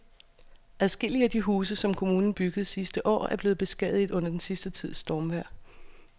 Adskillige af de huse, som kommunen byggede sidste år, er blevet beskadiget under den sidste tids stormvejr.